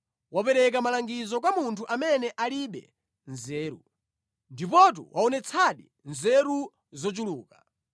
Wapereka malangizo kwa munthu amene alibe nzeru! Ndipotu waonetsadi nzeru zochuluka!